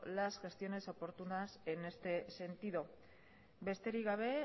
las gestiones oportunas en este sentido besterik gabe